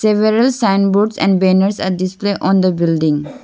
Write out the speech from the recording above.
Several sign boards and banners are display on the building.